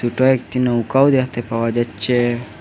ছোট একটি নৌকাও দেখতে পাওয়া যাচ্ছে।